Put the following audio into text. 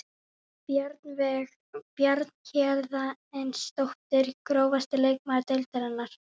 Bjarnveig Bjarnhéðinsdóttir Grófasti leikmaður deildarinnar?